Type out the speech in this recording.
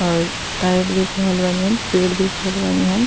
और टायर देख रहल बानी हम। पेड़ देख रहल बानी हम।